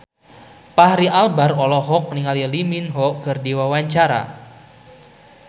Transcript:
Fachri Albar olohok ningali Lee Min Ho keur diwawancara